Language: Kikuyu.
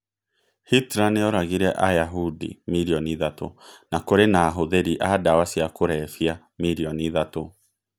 Hitler nĩ oragire Ayahudi milioni ithatũ... na kũrĩ na abuthiri a ndawa cia kũrebia milioni ithatũ.